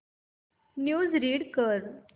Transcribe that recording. news read कर